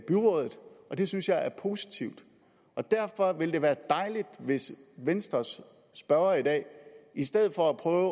byrådet og det synes jeg er positivt og derfor ville det være dejligt hvis venstres spørger i dag i stedet for at prøve